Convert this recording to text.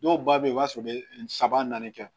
Dɔw ba bɛ yen i b'a sɔrɔ u bɛ saba naani kɛ